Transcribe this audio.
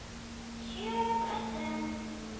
SJÖUNDA STUND